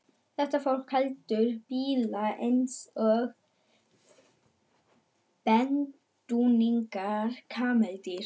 Þetta fólk heldur bíla eins og bedúínar kameldýr.